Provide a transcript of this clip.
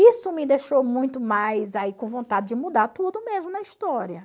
Isso me deixou muito mais aí com vontade de mudar tudo mesmo na história.